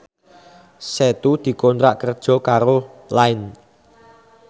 Setu dikontrak kerja karo Line